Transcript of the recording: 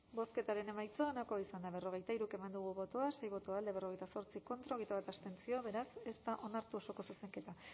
bozketaren emaitza onako izan da hirurogeita hamabost eman dugu bozka sei boto alde berrogeita zortzi contra hogeita bat abstentzio beraz ez da onartu osoko zuzenketa